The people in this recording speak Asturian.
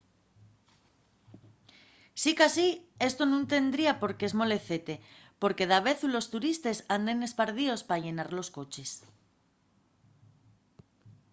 sicasí esto nun tendría por qué esmolecete porque davezu los turistes anden espardíos pa llenar los coches